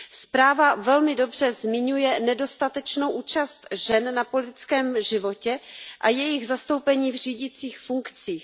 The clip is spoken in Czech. Zpráva velmi dobře zmiňuje nedostatečnou účast žen na politickém životě a jejich zastoupení v řídících funkcích.